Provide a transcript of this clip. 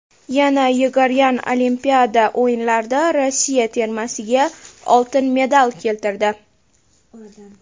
Yana Yegoryan Olimpiada o‘yinlarida Rossiya termasiga oltin medal keltirdi.